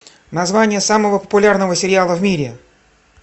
название самого популярного сериала в мире